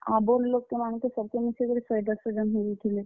ଆଉ ବଡ୍ ଲୋକ୍ କେ ମାନ୍ କେ ସବ୍ କେ ମିଶେଇକରି ଶହେ, ଡେଡ୍ ଶ ଜଣ ହେଇଯେଇଥିବେ।